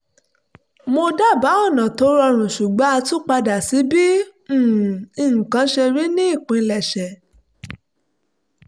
mo dábáà ọ̀nà tó rọrùn ṣùgbọ́n a tún padà sí bí um nǹkan ṣe rí ní ìpilẹ̀ṣẹ̀